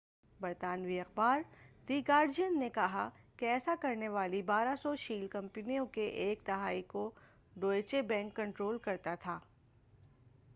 برطانوی اخبار the Guardian نے کہا کہ ایسا کرنے والی 1200 شیل کمپنیوں کے ایک تہائی کو ڈوئچے بینک کنٹرول کرتا تھا